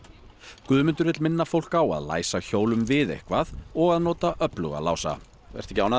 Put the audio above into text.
Guðmundur vill minna fólk á að læsa hjólum við eitthvað og að nota öfluga lása ertu ekki ánægður